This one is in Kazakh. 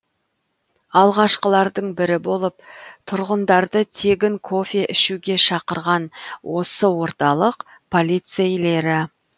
алғашқылардың бірі болып тұрғындарды тегін кофе ішуге шақырған осы орталық полицейлері